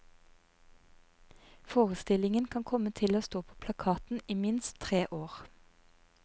Forestillingen kan komme til å stå på plakaten i minst tre år.